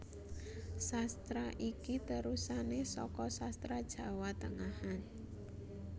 Sastra iki terusané saka Sastra Jawa Tengahan